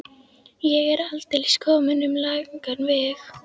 Ég er aldeilis kominn um langan veg.